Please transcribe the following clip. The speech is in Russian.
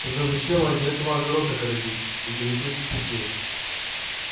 тогда зачем ради этого огород огородить интересуется сергей